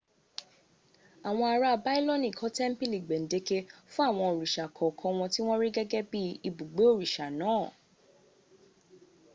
awon ara bailoni ko tempili gbendeke fun awon orisa kookan won ti won ri gege bi ibugbe orisa naa